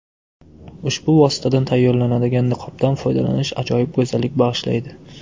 Ushbu vositadan tayyorlanadigan niqobdan foydalanish ajoyib go‘zallik bag‘ishlaydi.